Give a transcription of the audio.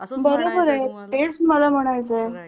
असच म्हणायचंय तुम्हाला बरोबर आहे तेच म्हणायचंय मला राईट.